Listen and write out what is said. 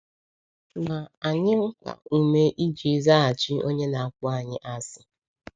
Ma anyị mkpa ume iji ‘zaghachi onye na-akpọ anyị asị.’